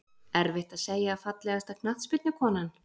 Erfitt að segja Fallegasta knattspyrnukonan?